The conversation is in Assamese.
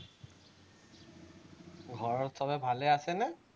ঘৰত চবেই ভালে আছেনে?